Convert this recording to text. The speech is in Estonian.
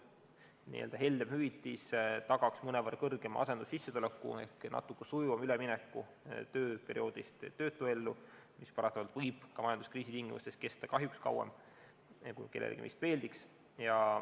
Nii-öelda heldem hüvitis tagaks mõnevõrra suurema asendussissetuleku ehk natukene sujuvama ülemineku tööperioodist töötuellu, mis paratamatult võib majanduskriisi tingimustes kesta kauem, kui kellelegi meist meeldiks.